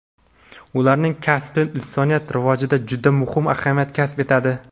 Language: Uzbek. Ularning kasbi insoniyat rivojida juda muhim ahamiyat kasb etadi.